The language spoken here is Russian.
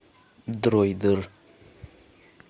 дроидер